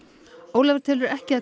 Ólafur telur ekki að